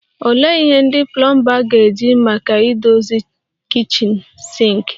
Olee ihe ndị plomba ga-eji maka idozi kichin sinki?